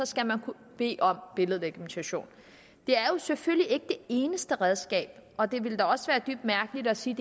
skal man kunne bede om billedlegitimation det er selvfølgelig ikke det eneste redskab og det ville da også være dybt mærkeligt at sige